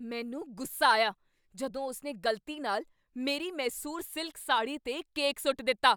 ਮੈਨੂੰ ਗੁੱਸਾ ਆਇਆ ਜਦੋਂ ਉਸਨੇ ਗ਼ਲਤੀ ਨਾਲ ਮੇਰੀ ਮੈਸੂਰ ਸਿਲਕ ਸਾੜ੍ਹੀ 'ਤੇ ਕੇਕ ਸੁੱਟ ਦਿੱਤਾ।